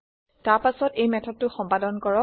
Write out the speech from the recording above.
তাৰ পাছত এই মেথডটো সম্পাদন কৰক